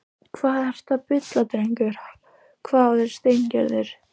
Hvað ertu að bulla drengur? hváði Steingerður.